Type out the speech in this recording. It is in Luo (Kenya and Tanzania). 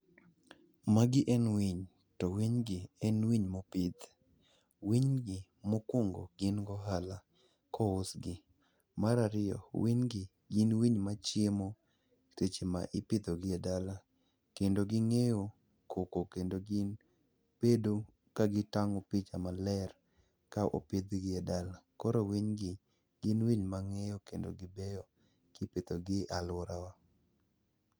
Magi en winy, to winygi en winy mopidh. winygi, mokwongo gin gohala kousgi. Mar ariyo, winy gi gin winy machiemo seche ma ipidhogi e dala, kendo ging'eyo koko kendo gin bedo ka gitang'o picha maler ka opidhgi e dala. Koro winygi gin winy mang'eyo kendo gibeyo kipidhogi e alworawa.